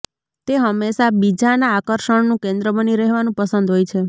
તે હંમેશાં બીજાના આકર્ષણનું કેન્દ્ર બની રહેવાનું પસંદ હોય છે